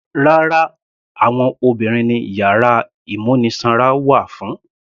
Rárá, àwọn obìnrin ni yàrá ìmúnisanra wà fún.